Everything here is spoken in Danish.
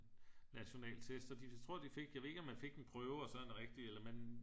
Nationaltest så de jeg tror de fik ved ikke om man fik den i prøve og så en rigtig eller man